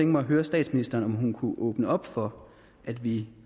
mig at høre statsministeren om hun kunne åbne op for at vi